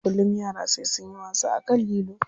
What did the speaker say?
Kullum yara sai sunyi wasa akan lilo.